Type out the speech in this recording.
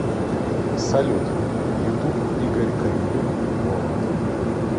салют ютуб игорь корнелюк воланд